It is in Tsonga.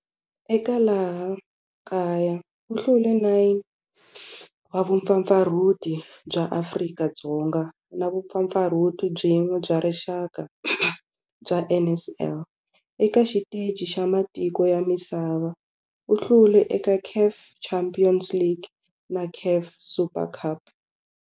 Eka laha kaya u hlule 9 wa vumpfampfarhuti bya Afrika-Dzonga na vumpfampfarhuti byin'we bya rixaka bya NSL. Eka xiteji xa matiko ya misava, u hlule eka CAF Champions League na CAF Super Cup.